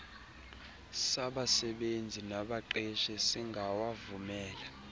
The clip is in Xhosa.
sabasebenzi nabaqeshi singawavumela